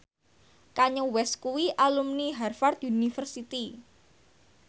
Kanye West kuwi alumni Harvard university